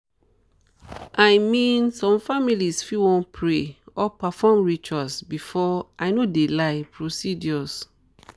i mean some families fit wan pray or perform rituals before i no de lie procedures.